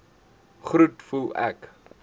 groet voel ek